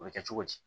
O bɛ kɛ cogo di